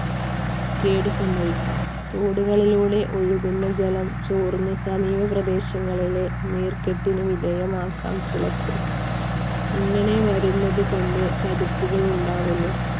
കേട് സംഭവിക്കാം. തോടുകളിലൂടെ ഒഴുകുന്ന ജലം ചോർന്ന് സമീപപ്രദേശങ്ങളിലെ നീർക്കെട്ടിന് വിധേയമാക്കാം ചിലപ്പോൾ. ഇങ്ങനെ വരുന്നതുകൊണ്ട് ചതിപ്പുകൾ ഉണ്ടാകുന്നു